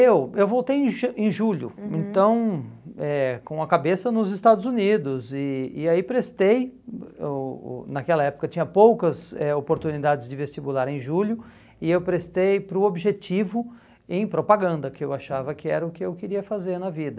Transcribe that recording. Eu eu voltei em ja em julho, uhum, então eh com a cabeça nos Estados Unidos e e aí prestei o o, naquela época tinha poucas eh oportunidades de vestibular em julho e eu prestei para o objetivo em propaganda, que eu achava que era o que eu queria fazer na vida.